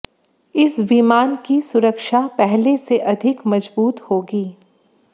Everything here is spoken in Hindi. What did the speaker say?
इस विमान की सुरक्षा पहले से अधिक मजबूत होगी